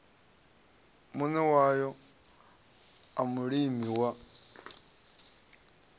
muṋe wayo a mulimi wa